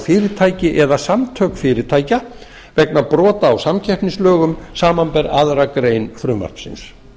fyrirtæki eða samtök fyrirtækja vegna brota á samkeppnislögum samanber aðra grein frumvarpsins